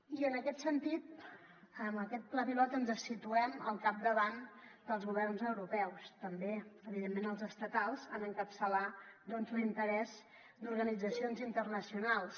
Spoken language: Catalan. i en aquest sentit amb aquest pla pilot ens situem al capdavant dels governs europeus també evidentment els estatals en encapçalar doncs l’interès d’organitzacions internacionals